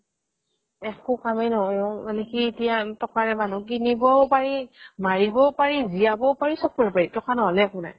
একোকামেই নহয় মানে কি এতিয়া টকাৰে মানুহক কিনিবও পাৰি মাৰিবও পাৰি জীয়াবও পাৰি চব কৰিব পাৰি টকা নহ'লে একো নাই